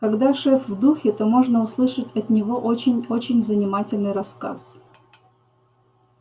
когда шеф в духе то можно услышать от него очень очень занимательный рассказ